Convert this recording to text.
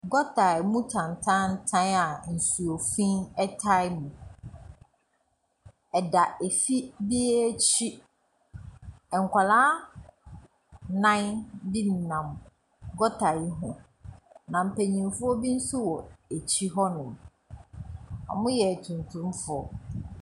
Gɔtaa ɛmu tantaantan a ɛnsuo fiin a ɛtaa mu. Ɛda efi bi ekyi. Ɛnkwalaa naan bi nenam gɔtaa ne ho na mpaninfoɔ bi so wɔ ekyi hɔ nom. Ɔmo yɛ tuntum foɔ.